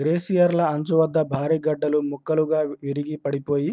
గ్లేసియర్ల అంచు వద్ద భారీ గడ్డలు ముక్కలుగా విరిగి పడిపోయి